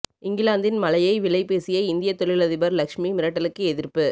இங்கிலாந்தின் மலையை விலை பேசிய இந்திய தொழிலதிபர் லக்ஷ்மி மிட்டலுக்கு எதிர்ப்பு